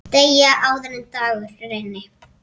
Deyja, áður en dagur rynni.